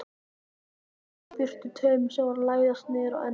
Ýtti burtu taumi sem var að læðast niður á ennið.